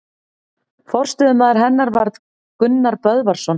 Forstöðumaður hennar varð Gunnar Böðvarsson.